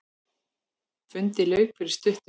Fundi lauk fyrir stuttu.